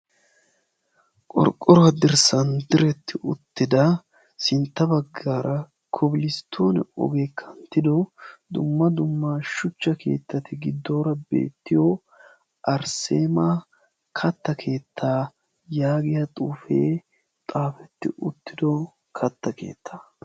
qorqoruwaa dirsan diretti uttida sinta nbagaara koblistoone ogeekka kanttido v shucha keetati beettiyo arseema katta keetaa yaagiya xuufee xaafetti uttido kata keettaa.